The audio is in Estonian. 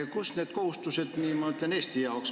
Kust me need kohustused endale võtsime?